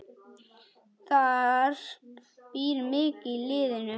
Það býr mikið í liðinu.